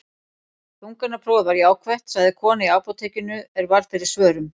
Þungunarprófið var jákvætt, sagði kona í apótekinu er varð fyrir svörum.